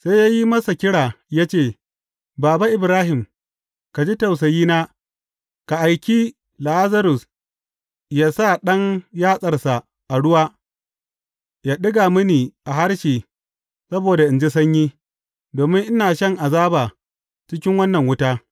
Sai ya yi masa kira ya ce, Baba, Ibrahim, ka ji tausayina, ka aiki Lazarus ya sa ɗan yatsarsa a ruwa, ya ɗiga mini a harshe saboda in ji sanyi, domin ina shan azaba cikin wannan wuta.’